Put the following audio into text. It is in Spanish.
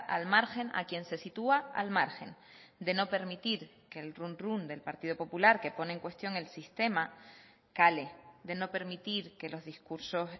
al margen a quien se sitúa al margen de no permitir que el run run del partido popular que pone en cuestión el sistema cale de no permitir que los discursos